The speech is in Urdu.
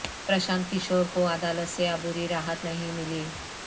پرشانت کشور کو عدالت سے عبوری راحت نہیں ملی